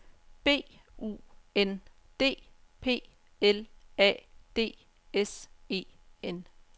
B U N D P L A D S E N